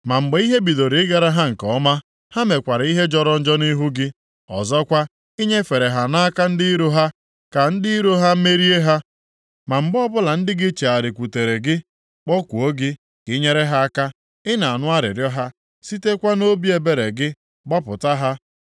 “Ma mgbe ihe bidoro ịgara ha nke ọma, ha mekwara ihe jọrọ njọ nʼihu gị. Ọzọkwa, i nyefere ha nʼaka ndị iro ha ka ndị iro ha merie ha. Ma mgbe ọbụla ndị gị chegharịkwutere gị, kpọkuo gị ka i nyere ha aka, ị na-anụ arịrịọ ha, sitekwa nʼobi ebere gị gbapụta ha.